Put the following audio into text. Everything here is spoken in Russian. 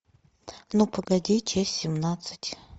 ну погоди часть семнадцать